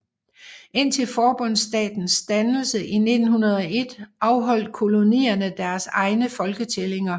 Indtil forbundsstatens dannelse i 1901 afholdt kolonierne deres egne folketællinger